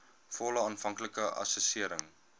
volle aanvanklike assessering